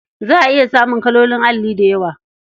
Za a iya samun kalolin alli da yawa.